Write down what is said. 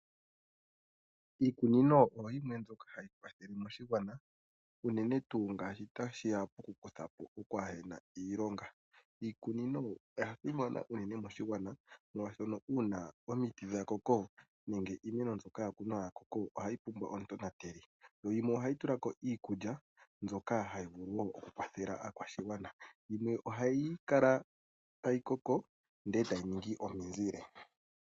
Iikunino oyo yimwe mbyoka hayi kwathele moshigwana unene tuu ngele otashi ya pokukutha po okwaa he na iilonga. Iikunino oya simana unene moshigwana, molwashoka ngele omiti dha koko, nenge iimeno mbyoka ya kunwa ya koko ohayi pumbwa omutonateli. Yimwe ohayi tula ko iikulya mbyoka hayi vulu wo okukwathela aakwashigwana. Yimwe ohayi kala tayi koko e tayi ningi omizile.